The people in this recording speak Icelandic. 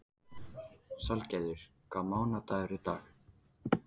Salgerður, hvaða mánaðardagur er í dag?